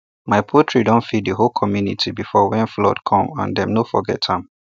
my poultry don feed the whole community before when flood comesand dem no forget am